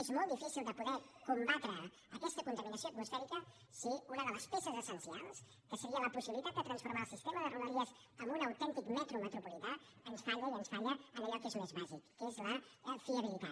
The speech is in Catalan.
és molt difícil de poder combatre aquesta contaminació atmosfèrica si una de les peces essencial que seria la possibilitat de transformar el sistema de rodalies en un autèntic metro metropolità ens falla i ens falla en allò que és més bàsic que és la fiabilitat